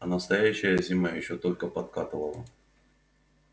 а настоящая зима ещё только подкатывала